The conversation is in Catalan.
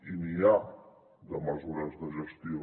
i n’hi ha de mesures de gestió